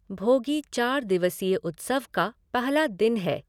भोगी चार दिवसीय उत्सव का पहला दिन है।